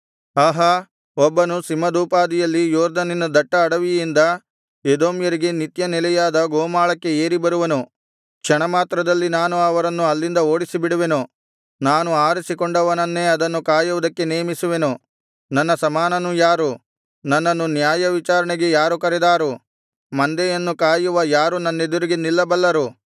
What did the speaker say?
ಆಹಾ ಒಬ್ಬನು ಸಿಂಹದೋಪಾದಿಯಲ್ಲಿ ಯೊರ್ದನಿನ ದಟ್ಟ ಅಡವಿಯಿಂದ ಎದೋಮ್ಯರಿಗೆ ನಿತ್ಯನೆಲೆಯಾದ ಗೋಮಾಳಕ್ಕೆ ಏರಿಬರುವನು ಕ್ಷಣಮಾತ್ರದಲ್ಲಿ ನಾನು ಅವರನ್ನು ಅಲ್ಲಿಂದ ಓಡಿಸಿಬಿಡುವೆನು ನಾನು ಆರಿಸಿಕೊಂಡವನನ್ನೇ ಅದನ್ನು ಕಾಯುವುದಕ್ಕೆ ನೇಮಿಸುವೆನು ನನ್ನ ಸಮಾನನು ಯಾರು ನನ್ನನ್ನು ನ್ಯಾಯವಿಚಾರಣೆಗೆ ಯಾರು ಕರೆದಾರು ಮಂದೆಯನ್ನು ಕಾಯುವ ಯಾರು ನನ್ನೆದುರಿಗೆ ನಿಲ್ಲಬಲ್ಲರು